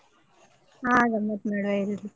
ಹಾ ಗಮ್ಮತ್ ಮಾಡ್ವಾ ಎಲ್ರು.